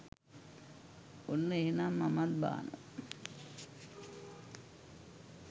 ඔන්න එහෙනං මමත් බානවා